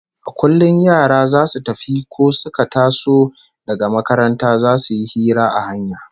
A kullum yara zasu tafi ko suka taso daga makaranta zasu yi hira a hanya